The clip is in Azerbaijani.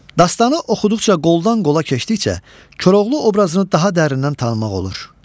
Dastanı oxuduqca, qoldan-qola keçdikcə Koroğlu obrazını daha dərindən tanımaq olur.